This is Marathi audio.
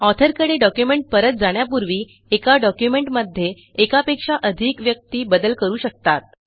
ऑथरकडे डॉक्युमेंट परत जाण्यापूर्वी एका डॉक्युमेंटमध्ये एकापेक्षा अधिक व्यक्ती बदल करू शकतात